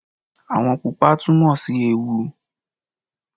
Ààwọ̀ pupa túmọ̀ sí ewu